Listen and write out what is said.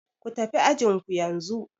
Ku tafi ajin ku yanzu!